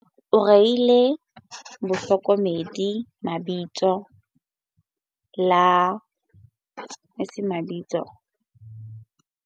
O reile bahlokomedi lebitso la 'basireletsi ba serapa' hobane ba bapala karolo ya bohlokwa mabapi le ho lwantsha botlokotsebe ba tikoloho, bo kang ba ho tsongwa ho seng molaong ha ditshukudu.